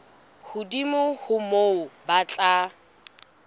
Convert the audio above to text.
hodimo ho moo ba tla